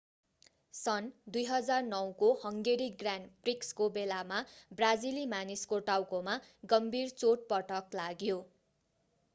सन् 2009 को Hungary grand प्रिक्सको बेलामा ब्राजिली मानिसको टाउकोमा गम्भीर चोटपटक लाग्यो